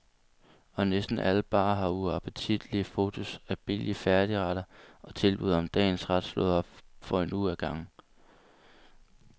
Og næsten alle barer har uappetitlige fotos af billige færdigretter og tilbud om dagens ret slået op for en uge ad gangen.